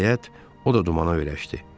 Nəhayət, o da dumana öyrəşdi.